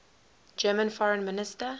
german foreign minister